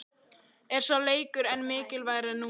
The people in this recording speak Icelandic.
Er sá leikur enn mikilvægari núna?